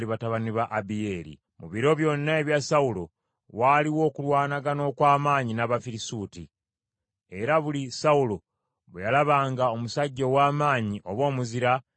Mu biro byonna ebya Sawulo, waaliwo okulwanagana okw’amaanyi n’Abafirisuuti, era buli Sawulo bwe yalabanga omusajja ow’amaanyi oba omuzira n’amuyingiza mu magye.